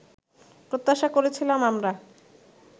প্রত্যাশা করেছিলাম আমরা